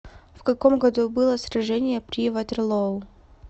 в каком году было сражение при ватерлоо